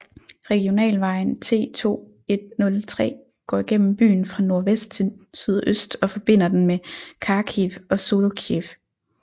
Regionalvejen T2103 går gennem byen fra nordvest til sydøst og forbinder den med Kharkiv og Zolochiv